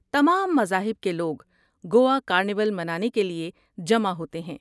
تمام مذاہب کے لوگ گوا کارنیول منانے کے لیے جمع ہوتے ہیں۔